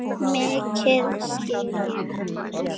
Mikið skil ég hann vel.